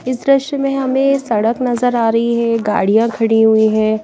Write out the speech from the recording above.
इस दृश्य में हमें सड़क नज़र आ रही हे गाड़ियाँ खड़ी हुई हैं।